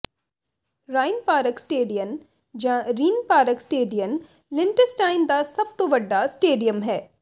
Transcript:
ਰਾਇਿਨਪਾਰਕ Stadion ਜਾਂ Rheinpark Stadion Liechtenstein ਦਾ ਸਭ ਤੋਂ ਵੱਡਾ ਸਟੇਡੀਅਮ ਹੈ